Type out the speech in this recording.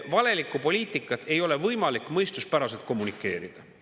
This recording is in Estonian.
Valelikku poliitikat ei ole võimalik mõistuspäraselt kommunikeerida.